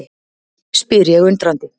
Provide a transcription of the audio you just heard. spyr ég undrandi.